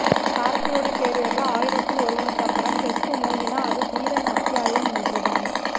கார்த்தியோட கேரியர்ல ஆயிரத்தில் ஒருவனுக்கு அப்புறம் பெஸ்ட் மூவினா அது தீரன் அத்தியாயம் ஒன்றுதான்